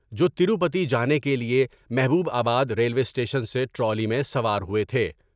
جو تیرپتی جانے کے لئے محبوب آباد ریلوے اسٹیشن سے ٹرالی میں سوار ہوئے تھے ۔